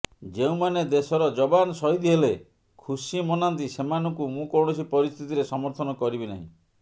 ଯେଉଁମାନେ ଦେଶର ଯବାନ ଶହୀଦ୍ ହେଲେ ଖୁସି ମନାନ୍ତି ସେମାନଙ୍କୁ ମୁଁ କୌଣସି ପରିସ୍ଥିତିରେ ସମର୍ଥନ କରିବି ନାହିଁ